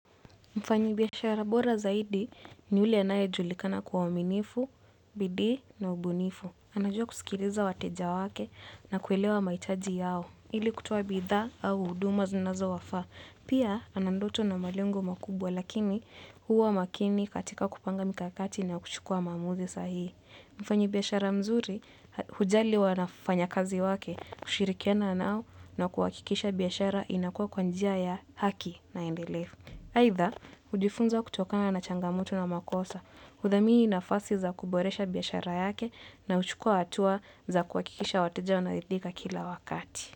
Mfanyi biashara bora zaidi ni ule anaye julikana kwa uwaminifu, bidii na ubunifu. Anajua kusikiliza wateja wake na kuelewa mahitaji yao. Ili kutoa bitha au huduma zinazo wafaa. Pia anandoto na malengo makubwa lakini huwa makini katika kupanga mikakati na kuchukua maamuzi sahihi. Mfanyi biashara mzuri hujali wafanya kazi wake kushirikiana nao na kuhakikisha biashara inakua kwa njia ya haki na endelevu. Aitha, hujifunza kutokana na changamoto na makosa. Udhamini nafasi za kuboresha biashara yake na huchukua hatua za kuhakikisha wateja wanaridhika kila wakati.